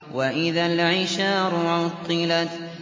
وَإِذَا الْعِشَارُ عُطِّلَتْ